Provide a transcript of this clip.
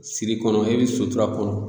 Siri kɔnɔ e be sutura kɔnɔ